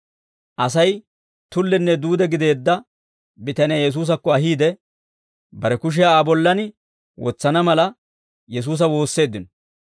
Asay tullenne duude gideedda bitaniyaa Yesuusakko ahiide, bare kushiyaa Aa bollan wotsana mala, Yesuusa woosseeddino.